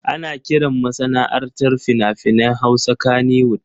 Ana kiran masana'antar fina-finan Hausa Kannywood.